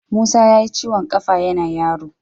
Musa yayi ciwon ƙafa yana yaro.